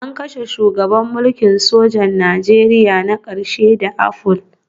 An kashe shugaban mulkin sojan Najeriya na ƙarshe da apple